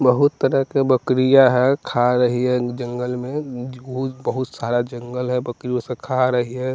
बहुत तरह के बकरिया है खा रही है जंगल में बहुत सारा जंगल है बकरी उसे खा रही है।